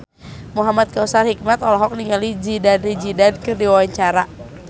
Muhamad Kautsar Hikmat olohok ningali Zidane Zidane keur diwawancara